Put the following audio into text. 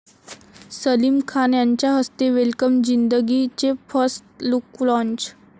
सलीम खान यांच्या हस्ते 'वेलकम जिंदगी 'चे फर्स्ट लुक लाँच